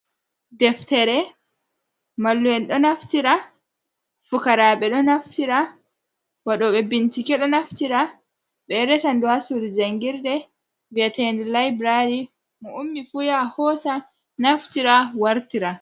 Deftere mallu’en ɗo naftira, fukaraɓe ɗo naftira, waɗɗobe bincike ɗo naftira ɓe ɗo resan du ha surd jangirde viaten de laibrary, mo ummi fu ya hosa naftira wartira.